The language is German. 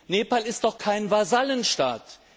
Nepal ist doch kein Vasallenstaat!